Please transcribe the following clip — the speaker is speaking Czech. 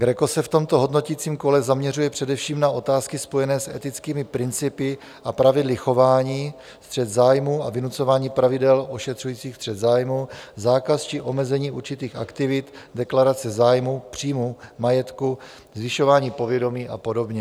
GRECO se v tomto hodnoticím kole zaměřuje především na otázky spojené s etickými principy a pravidly chování, střet zájmů a vynucování pravidel ošetřujících střet zájmů, zákaz či omezení určitých aktivit, deklarace zájmů, příjmů, majetku, zvyšování povědomí a podobně.